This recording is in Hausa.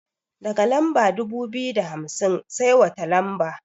Daga lamba dubu biyu da hamsin sai wata lamba?